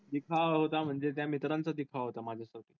दिखावा होता म्हणजे त्या मित्रांचा दिखावा होता माझ्यासोबत.